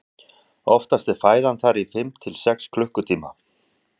oftast er fæðan þar í fimm til sex klukkutíma